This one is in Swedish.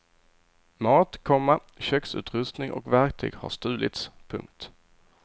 Mat, komma köksutrustning och verktyg har stulits. punkt